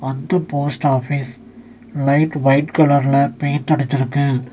அஃது post office light white கலர்ல paint அடிச்சிருக்கு.